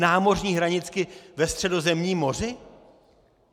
Námořní hranici ve Středozemním moři?